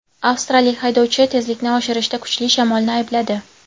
Avstraliyalik haydovchi tezlikni oshirishida kuchli shamolni aybladi.